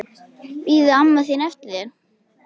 Bíður amma þín eftir þér?